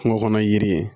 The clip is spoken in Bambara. Kungo kɔnɔ yiri